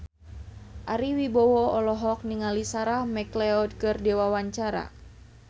Ari Wibowo olohok ningali Sarah McLeod keur diwawancara